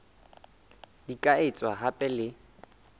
di ka etswa hape le